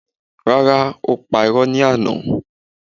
Rárá, ó pa irọ́ ní àná.